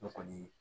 Ne kɔni